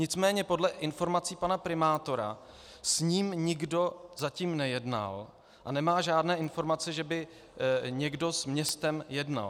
Nicméně podle informací pana primátora s ním nikdo zatím nejednal a nemá žádné informace, že by někdo s městem jednal.